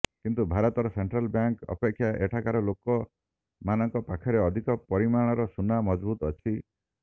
କିନ୍ତୁ ଭାରତର central bank ଅପେକ୍ଷା ଏଠାକାର ଲୋକ ମାନଙ୍କ ପାଖରେ ଅଧିକ ପରିମାଣର ସୁନା ମହଜୁଦ ଅଛି